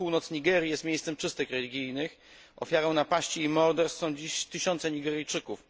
Północ Nigerii jest miejscem czystek religijnych, ofiarą napaści i morderstw są dziś tysiące Nigeryjczyków.